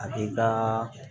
A b'i ka